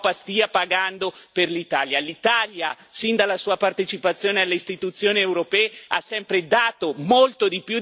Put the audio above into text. L'Italia, sin dalla sua partecipazione alle istituzioni europee, ha sempre dato molto di più di quello che ha ricevuto da Bruxelles.